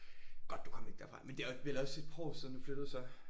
Godt du kom væk derfra men det er vel også et par år siden du flyttede så?